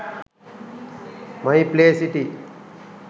my play city